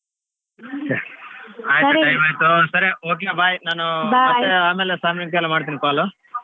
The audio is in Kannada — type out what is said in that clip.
okay bye ಆಮೇಲೆ ಸಾಯಂಕಾಲ ಮಾಡ್ತೀನಿ call .